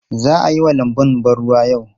Za a yi wa lanbun ban ruwa yau?